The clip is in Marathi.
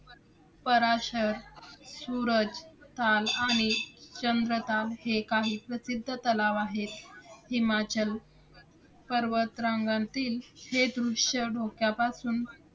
पराशर, सुरजताल आणि चंद्रताल हे काही प्रसिद्ध तलाव आहेत. हिमाचल पर्वत रांगांतील जे दृश्य डोक्यापासून